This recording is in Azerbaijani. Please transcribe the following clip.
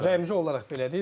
Yəni bu rəmzi olaraq belədir.